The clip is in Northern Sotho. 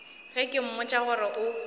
ge ke mmotša gore o